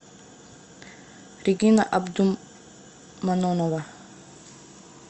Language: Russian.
регина абдуманонова